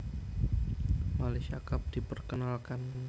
Malaysia Cup diperkenalkan